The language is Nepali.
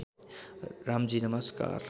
रामजी नमस्कार